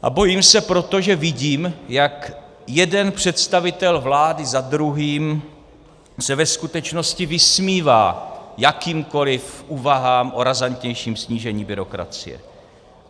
A bojím se proto, že vidím, jak jeden představitel vlády za druhým se ve skutečnosti vysmívá jakýmkoliv úvahám o razantnějším snížení byrokracie.